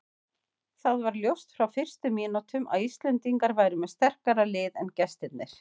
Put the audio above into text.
Það var ljóst frá fyrstu mínútum að Íslendingar væru með sterkara lið en gestirnir.